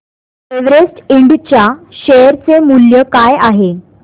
Everest इंड च्या share चे मूल्य काय आहे